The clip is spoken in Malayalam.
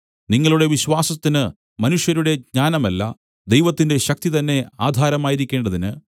നിങ്ങളുടെ വിശ്വാസത്തിന് മനുഷ്യരുടെ ജ്ഞാനമല്ല ദൈവത്തിന്റെ ശക്തി തന്നെ ആധാരമായിരിക്കേണ്ടതിന്